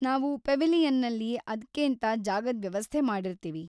ನಾವು ಪೆವಿಲಿಯನ್ನಲ್ಲಿ ಅದ್ಕೇಂತ ಜಾಗದ್ ವ್ಯವಸ್ಥೆ ಮಾಡಿರ್ತೀವಿ.